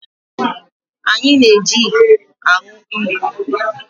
Anyi na-eji iko aṅụ mmiri